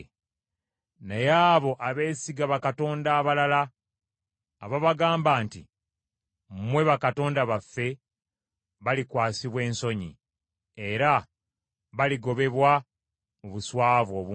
Naye abo abeesiga bakatonda abalala, ababagamba nti, ‘Mwe bakatonda baffe,’ balikwasibwa ensonyi, era baligobebwa, mu buswavu obungi.”